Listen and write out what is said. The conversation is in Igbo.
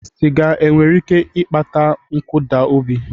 Sịga e nwere ike ịkpata nkụda obi?